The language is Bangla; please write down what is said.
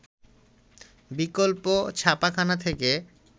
বিকল্প ছাপাখানা থেকে